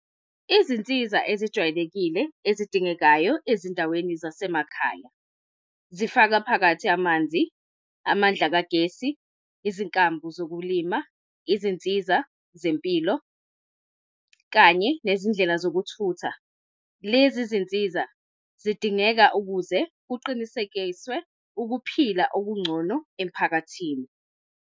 Izinsiza ezijwayelekile ezidingekayo ezindaweni zasemakhaya zifaka phakathi amanzi, amandla kagesi, izinkambo zokulima, izinsiza zempilo kanye nezindlela zokuthutha. Lezi zinsiza zidingeka ukuze kuqinisekiswe ukuphila okungcono emphakathini.